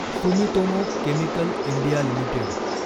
Sumitomo chemical India limited